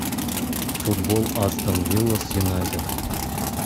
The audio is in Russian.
футбол астон вилла с юнайтед